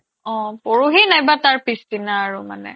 অ, পৰহি নাইবা তাৰপিছদিনা আৰু মানে